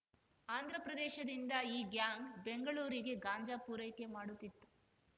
ಆಂಧ್ರಪ್ರದೇಶದಿಂದ ಈ ಗ್ಯಾಂಗ್‌ ಬೆಂಗಳೂರಿಗೆ ಗಾಂಜಾ ಪೂರೈಕೆ ಮಾಡುತ್ತಿತ್ತು